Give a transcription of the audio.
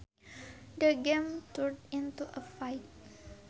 The game turned into a fight